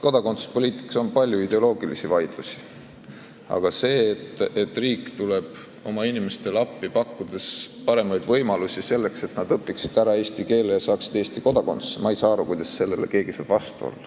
Kodakondsuspoliitikas on palju ideoloogilisi vaidlusi, aga ma ei saa aru, kuidas saab keegi vastu olla sellele, et riik tuleb oma inimestele appi, pakkudes paremaid võimalusi selleks, et nad õpiksid ära eesti keele ja saaksid Eesti kodakondsuse.